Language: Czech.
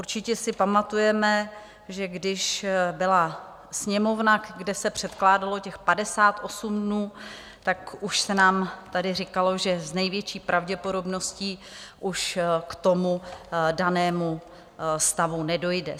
Určitě si pamatujeme, že když byla sněmovna, kde se předkládalo těch 58 dnů, tak už se nám tady říkalo, že s největší pravděpodobností už k tomu danému stavu nedojde.